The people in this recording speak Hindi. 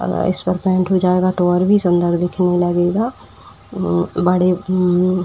अ इसपर पेंट हो जाएगा तो और भी सुंदर दिखने लगेगा। म् बड़े म् --